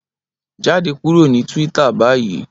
Jade kuro ni Twitter bayi!